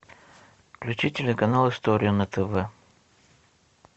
включи телеканал история на тв